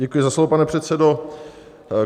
Děkuji za slovo, pane předsedo.